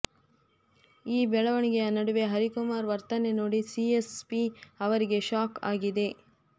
ಈ ಬೆಳವಣಿಗೆಯ ನಡುವೆ ಹರಿಕುಮಾರ್ ವರ್ತನೆ ನೋಡಿ ಸಿ ಎಸ್ ಪಿ ಅವರಿಗೆ ಶಾಕ್ ಆಗಿದೆ